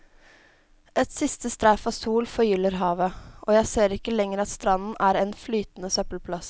Et siste streif av sol forgyller havet, og jeg ser ikke lenger at stranden er en flytende søppelplass.